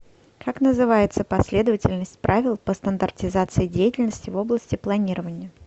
как называется последовательность правил по стандартизации деятельности в области планирования